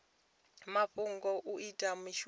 mafhungo kha u ita mishumo